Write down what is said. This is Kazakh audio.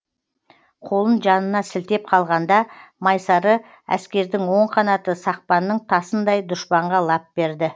қолын жанына сілтеп қалғанда майсары әскердің оң қанаты сақпанның тасындай дұшпанға лап берді